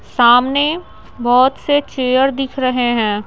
सामने बहुत से चेयर दिख रहे हैं।